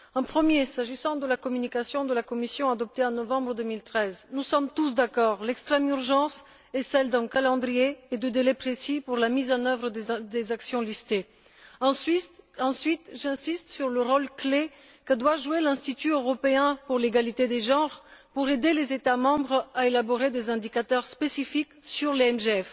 Premièrement, s'agissant de la communication de la Commission adoptée en novembre 2013, nous sommes tous d'accord, l'extrême urgence est l'adoption d'un calendrier et d'un délai précis pour la mise en œuvre des actions listées. Deuxièmement, j'insiste sur le rôle clé que doit jouer l'Institut européen pour l'égalité des genres afin d'aider les États membres à élaborer des indicateurs spécifiques sur les MGF.